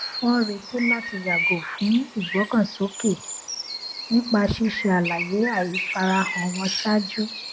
wọn retí láti yàgò fún ìgbọkànsókè nípa ṣíṣe àlàyé àìfarahàn wọn ṣáájú